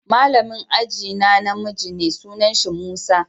Malamin ajie na na miji ne, sunan shi Musa.